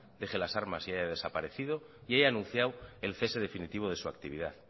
deje las armas y haya desaparecido y haya anunciado el cese definitivo de su actividad